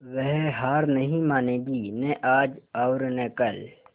वह हार नहीं मानेगी न आज और न कल